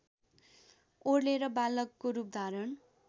ओर्लेर बालकको रूपधारण